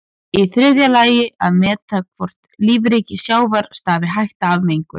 Í þriðja lagi að meta hvort lífríki sjávar stafi hætta af mengun.